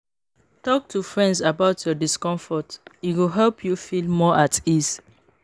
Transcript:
Talk to friends about your discomfort, e go help you feel more at ease.